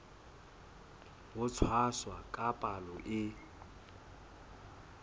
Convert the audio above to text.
ho tshwasa ka palo e